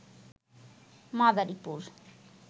Madaripur